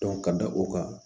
ka da o kan